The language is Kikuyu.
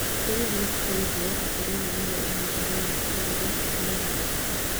Historĩ nĩkũigwo atĩ rĩrĩ nĩrĩo ihinda rĩamũkĩrire moogarũrũku